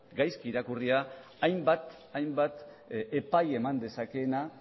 hainbat epai eman dezakeena